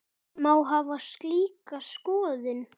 Má hafa slíka skoðun?